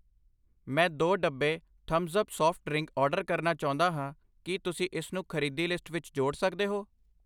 ਮੈਂ ਦੋ, ਡੱਬੇ Thums Up soft drink order ਕਰਨਾ ਚਾਉਂਦਾ ਹਾਂ, ਕਿ ਤੁਸੀਂ ਇਸਨੂੰ ਖਰੀਦੀ ਲਿਸਟ ਵਿੱਚ ਜੋੜ ਸਕਦੇ ਹੋ ?